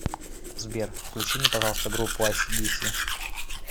сбер включи мне пожалуйста группу айси диси